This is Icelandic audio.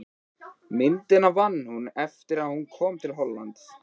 Myndina vann hún svo eftir að hún kom til Hollands.